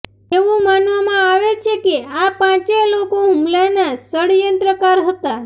એવું માનવામાં આવે છે કે આ પાંચે લોકો હુમલાના ષડયંત્રકાર હતાં